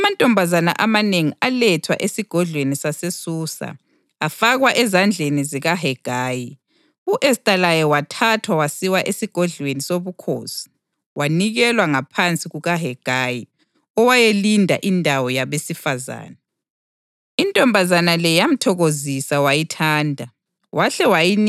Kwathi umlayo wenkosi kanye lesimiso sekumenyezelwe, amantombazana amanengi alethwa esigodlweni saseSusa afakwa ezandleni zikaHegayi. U-Esta laye wathathwa wasiwa esigodlweni sobukhosi wanikelwa ngaphansi kukaHegayi, owayelinda indawo yabesifazane.